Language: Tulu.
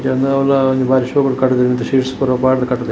ಎನ್ನೌಲ ಒಂಜಿ ಬಾರಿ ಶೊಕುಡು ಕಟುದೆರ್ ಮಿತ್ ಶೀಟ್ಸ್ ಪೂರ ಪಾಡ್ದ್ ಕಟುದೆರ್.